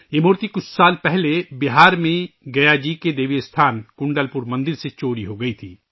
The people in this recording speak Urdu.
یہ مورتی کچھ سال پہلے بہار میں گیا جی کے دیوی مقام کنڈل پور مندر سے چوری ہو گئی تھی